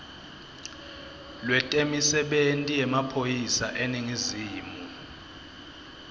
lwetemisebenti yemaphoyisa eningizimu